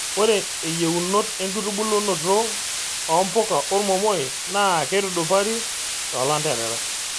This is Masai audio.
Ore eyieunot enkitubulunoto oo mpuka ormomoi naa keitudupari too lanterera.